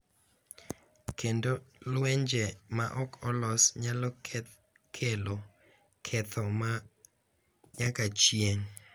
Kendo lwenje ma ok olos nyalo kelo ketho ma nyaka chieng’,